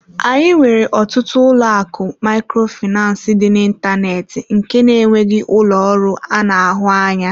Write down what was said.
Anyị nwere ọtụtụ ụlọ akụ Microfinance dị n'ịntanetị nke na-enweghị ụlọ ọrụ anụ ahụ anya.